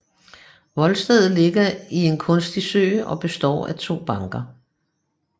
Voldstedet ligger i en kunstig sø og består af to banker